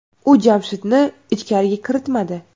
U Jamshidni ichkariga kiritmadi.